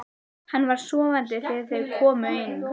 Hann var sofandi þegar þau komu inn.